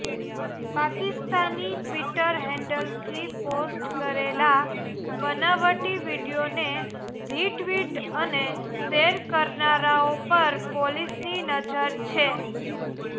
Pakistani Twitter હેન્ડલથી post કરેલા બનાવટી વીડિયોને રિટ્વીટ અને શેર કરનારાઓ પર પોલીસની નજર છે